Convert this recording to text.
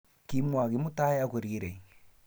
kimwa kimutai akorirei